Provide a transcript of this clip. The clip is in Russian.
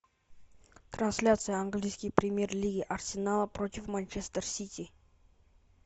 трансляция английской премьер лиги арсенала против манчестер сити